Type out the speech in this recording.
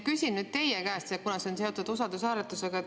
Küsin nüüd teie käest, kuna see on seotud usaldushääletusega.